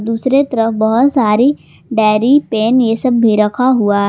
दूसरे तरफ बहुत सारी डायरी पेन यह सब भी रखा हुआ है।